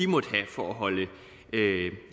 måtte have for at holde